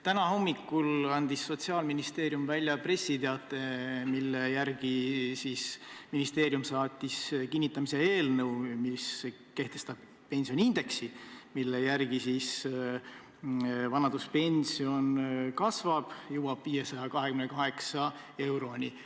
Täna hommikul andis Sotsiaalministeerium välja pressiteate, et ministeerium saatis kinnitamisele eelnõu, mis kehtestab pensioniindeksi, mille järgi vanaduspension kasvab 528 euroni.